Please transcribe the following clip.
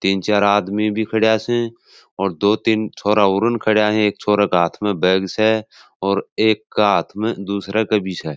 तीन चार आदमी भी खड़ा स और दो तीन छोरा औरउन खड़ा एक छोरा के हाथ में बैग से और एक के हाथ में दूसरे के भी स।